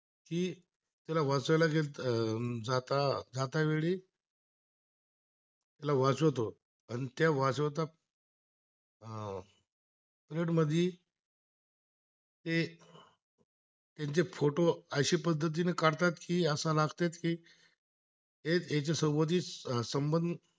त्यान चे फोटो अशा पद्धतीने करतात, की असा लागतात की, आहे त्यासोबतच संबंध